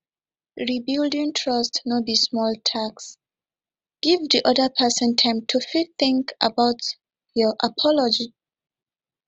rebuilding trust no be small task give di oda person time to fit think about your apology